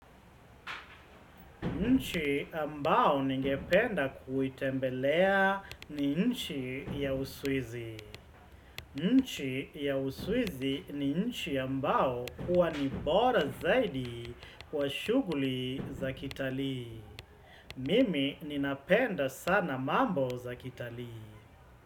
Nchi ambao ningependa kuitembelea ni nchi ya uswizi. Nchi ya uswizi ni nchi ambao huwa nibora zaidi kwa shughuli za kitalii. Mimi ninapenda sana mambo za kitalii.